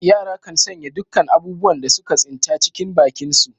Yara kan sanya dukkan abubuwan da suka tsinta, cikin bakinsu.